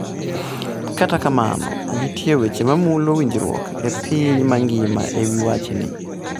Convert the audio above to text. Kata kamano, nitie weche ma mulo winjruok e kind piny mangima e wi wachni.